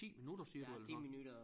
10 minutter siger du eller noget